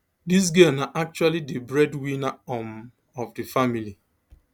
dis girl na actually di breadwinner um of di family